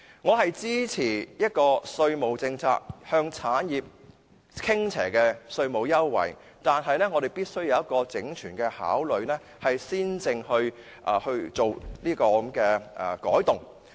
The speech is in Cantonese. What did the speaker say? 我支持向產業發展傾斜的稅務優惠，但我們必須有全盤考慮，才能作出改動。